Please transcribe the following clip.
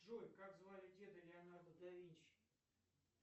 джой как звали деда леонардо да винчи